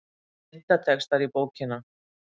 Myndatextar í bókina